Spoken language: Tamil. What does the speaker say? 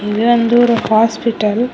இது வந்து ஒரு ஹாஸ்பிட்டல் .